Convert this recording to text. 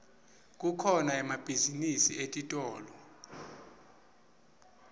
kukhona emabhizinisi etitolo